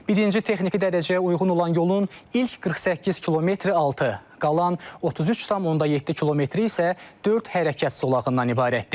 Birinci texniki dərəcəyə uyğun olan yolun ilk 48 km-i altı, qalan 33,7 km-i isə dörd hərəkət zolağından ibarətdir.